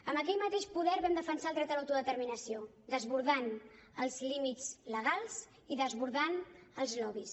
amb aquell mateix poder vam defensar el dret a l’autodeterminació desbordant els límits legals i desbordant els lobbys